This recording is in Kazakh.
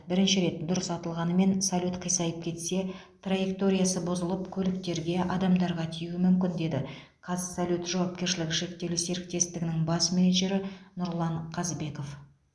бірінші рет дұрыс атылғанымен салют қисайып кетсе траекториясы бұзылып көліктерге адамдарға тиюі мүмкін деді қазсалют жауапкершілігі шектеулі серіктестігінің бас менеджері нұрлан қазбеков